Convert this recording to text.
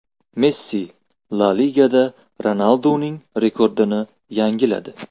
Messi La Ligada Ronalduning rekordini yangiladi.